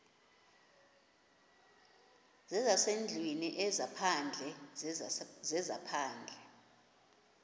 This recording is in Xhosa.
zezasendlwini ezaphandle zezaphandle